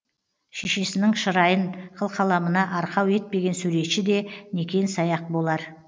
шешесінің шырайын қылқаламына арқау етпеген суретші де некен саяқ болар